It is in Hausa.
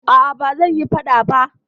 Aa, ba zanyi faɗa ba